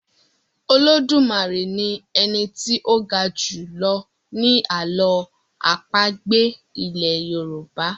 Olodumare ní Eni tí o ga julọ ni àlọ́ àpagbè ilè yorùbá.